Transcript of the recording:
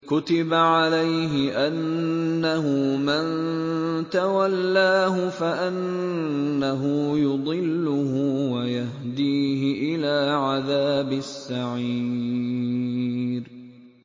كُتِبَ عَلَيْهِ أَنَّهُ مَن تَوَلَّاهُ فَأَنَّهُ يُضِلُّهُ وَيَهْدِيهِ إِلَىٰ عَذَابِ السَّعِيرِ